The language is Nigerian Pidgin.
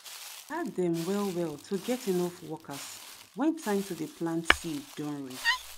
e dey hard them well well to get enough workers when time to dey plant seed don reach